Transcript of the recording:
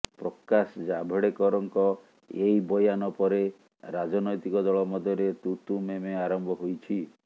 ପ୍ରକାଶ ଜାଭଡେକରଙ୍କ ଏହି ବୟାନ ପରେ ରାଜନୈତିକ ଦଳ ମଧ୍ୟରେ ତୁ ତୁ ମେ ମେ ଆରମ୍ଭ ହୋଇଛି